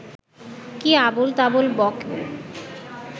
কী আবোলতাবোল বকো